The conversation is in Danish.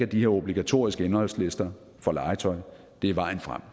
de her obligatoriske indholdslister for legetøj er vejen frem